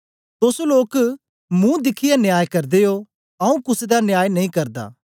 तोस लोक महू दिखियै न्याय करदे ओ आऊँ कुसे दा न्याय नेई करदा